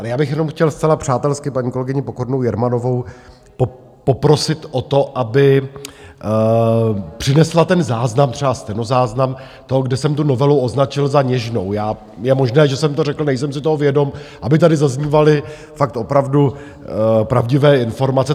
Ale já bych jenom chtěl zcela přátelsky paní kolegyni Pokornou Jermanovou poprosit o to, aby přinesla ten záznam, třeba stenozáznam toho, kde jsem tu novelu označil za něžnou - je možné, že jsem to řekl, nejsem si toho vědom -, aby tady zaznívaly fakt opravdu pravdivé informace.